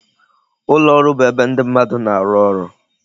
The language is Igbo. Ụlọ ọrụ bụ ebe ndị mmadụ na-arụ ọrụ